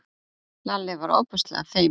Lalli varð ofboðslega feiminn.